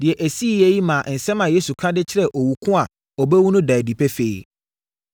Deɛ ɛsiiɛ yi maa nsɛm a Yesu ka de kyerɛɛ owu ko a ɔbɛwu no daa adi pefee.